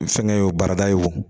Fɛnkɛ ye o baarada ye wo